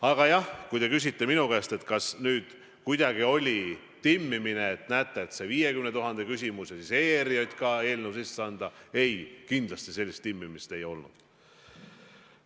Aga jah, kui te küsite minu käes, kas see oli nüüd kuidagi nagu timmimine, et näete, see 50 000 küsimus ja ERJK eelnõu sisseandmine, siis ei, kindlasti mingit sellist timmimist ei olnud.